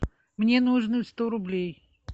мне нужно сто рублей